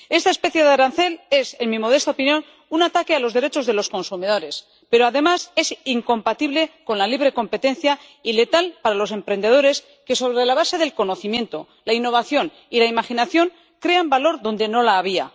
Esta especie de arancel es, en mi modesta opinión, un ataque a los derechos de los consumidores, pero además es incompatible con la libre competencia y letal para los emprendedores que, sobre la base del conocimiento, la innovación y la imaginación, crean valor donde no lo había.